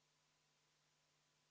Palun võtta seisukoht ja hääletada!